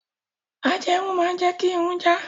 Ajẹrun máa jẹ́ kí Irun jà.